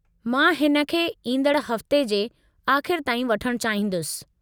मां हिन खे ईंदड़ु हफ़्ते जे आख़िरि ताईं वठणु चाहींदुसि।